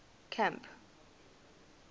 camp